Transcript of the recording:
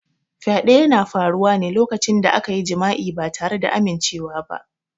Fyaɗe yana faruwa ne lokacin da akayi jima'i ba tare da amimcewa ba.